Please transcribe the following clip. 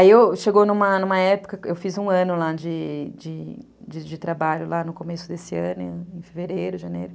Aí chegou numa numa época, eu fiz um ano lá de trabalho lá no começo desse ano, em fevereiro, janeiro.